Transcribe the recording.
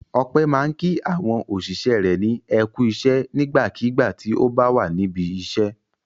Ọpẹ́ máa ń kí àwọn òṣìṣẹ́ rẹ̀ ní "ẹ kú iṣẹ́" nígbàkigbà tí ó bá wà níbi iṣẹ́.